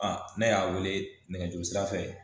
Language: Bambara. ne y'a wele nɛgɛjuru sira fɛ